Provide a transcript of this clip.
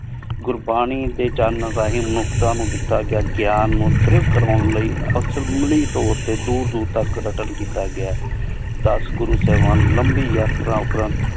ਗੁਰਬਾਣੀ ਡੀ ਜਾਨ ਰਹਿਣ ਮੁਨੁਖ੍ਤਾਂ ਨੂ ਦਿਤਾ ਗਯਾ ਗ੍ਯਾਨ ਮੁਤ੍ਰਿਬ ਕਰਾਂ ਲੈ ਅਮਲੀ ਤੋਰ ਟੀ ਦੂਰ ਦੂਰ ਤਕ ਰੱਟਣ ਕੀਤਾ ਗਯਾ ਹੈ ਦਸ ਗੁਰੂ ਸਾਹੇਬਨ ਲੰਬੀ ਯਾਤਰਾਂ ਊਟੀ